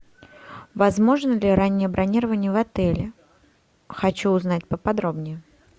возможно ли раннее бронирование в отеле хочу узнать поподробнее